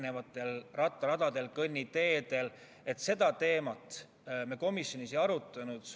Seda teemat me komisjonis ei arutanud.